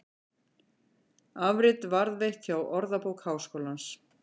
Afrit varðveitt hjá Orðabók Háskólans.